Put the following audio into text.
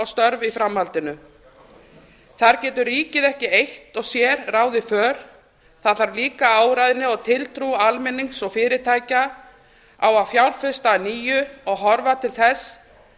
störf í framhaldinu þar getur ríkið ekki eitt og sér ráðið för það þarf líka áræðni og tiltrú almennings og fyrirtækja á að fjárfesta að nýju og horfa til þess